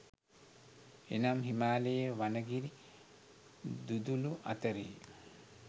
එනම් හිමාලයේ වනගිරි දුදුළු අතරෙහි